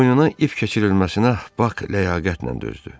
Boynuna ip keçirilməsinə Bak ləyaqətlə dözdü.